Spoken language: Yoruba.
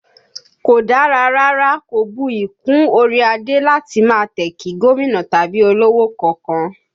Kò dára rárá, kò buyì kún orí adé láti máa tẹ̀ kí gómìnà tàbí olówò kankan